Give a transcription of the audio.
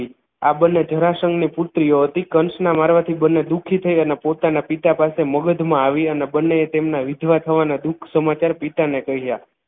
આ બંને જરાસંઘની પુત્રીઓ હતી કંસના મારવાથી બંને દુઃખી થઈ અને પોતાના પિતા પાસે મગધમાં આવી અને બંને તેમના વિધવા થવાના દુઃખ સમાચાર પિતાને કહ્યા